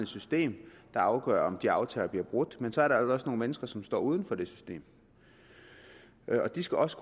system der afgør om de aftaler bliver brudt men så er der jo også nogle mennesker som står uden for det system og de skal også